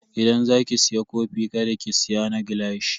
Idan za ki siya kofi kada ki siya na gilashi.